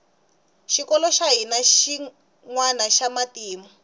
xikolo xa hina hi xinwana xa matimu